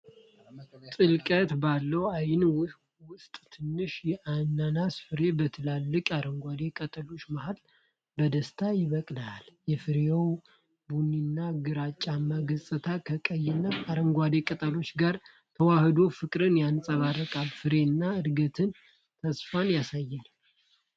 ጥልቀት ባለው እይታ ውስጥ ትንሽ የአናናስ ፍሬ በትልልቅ አረንጓዴ ቅጠሎች መሃል በደስታ ይበቅላል። የፍሬው ቡኒና ግራጫማ ገጽታ ከቀይና አረንጓዴ ቅጠሎቹ ጋር ተዋህዶ ፍቅርን ያንፀባርቃል። ፍሬው እድገትንና ተስፋን ያሳያል።